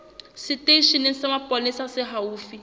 seteisheneng sa mapolesa se haufi